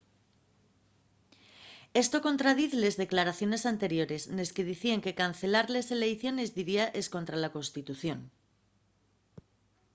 esto contradiz les declaraciones anteriores nes que dicíen que cancelar les eleiciones diría escontra la constitución